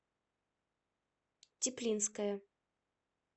теплинская